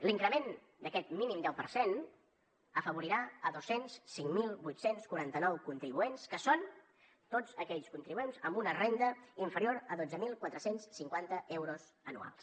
l’increment d’aquest mínim deu per cent afavorirà dos cents i cinc mil vuit cents i quaranta nou contribuents que són tots aquells contribuents amb una renda inferior a dotze mil quatre cents i cinquanta euros anuals